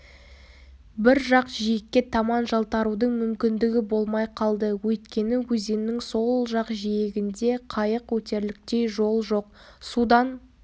бір жақ жиекке таман жалтарудың мүмкіндігі болмай қалды өйткені өзеннің сол жақ жиегінде қайық өтерліктей жол жоқ судан